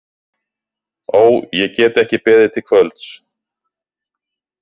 Ó, ég get ekki beðið til kvölds.